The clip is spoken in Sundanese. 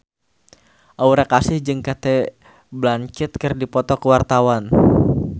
Aura Kasih jeung Cate Blanchett keur dipoto ku wartawan